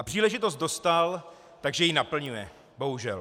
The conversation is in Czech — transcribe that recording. A příležitost dostal, takže ji naplňuje, bohužel.